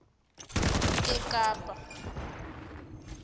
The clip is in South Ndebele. ekapa